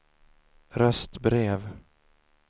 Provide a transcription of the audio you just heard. röstbrev